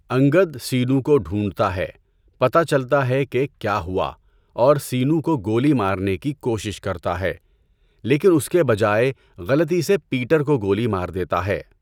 انگد سینو کو ڈھونڈتا ہے، پتہ چلتا ہے کہ کیا ہوا، اور سینو کو گولی مارنے کی کوشش کرتا ہے، لیکن اس کے بجائے غلطی سے پیٹر کو گولی مار دیتا ہے۔